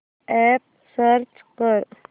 app search कर